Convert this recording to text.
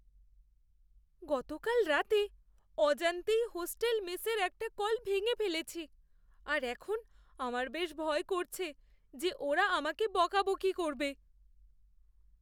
গতকাল রাতে অজান্তেই হোস্টেল মেসের একটা কল ভেঙে ফেলেছি আর এখন আমার বেশ ভয় করছে যে ওরা আমাকে বকাবকি করবে।